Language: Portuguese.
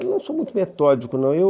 Não sou muito metódico, não. Eu